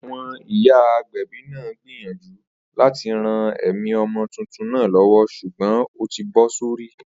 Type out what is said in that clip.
Àwo̩n ìyá agbè̩bí náà gbìyànjú láti ran è̩mí o̩mo̩ tuntun náà lówó s̩ùgbó̩n ó ti bó̩ sórí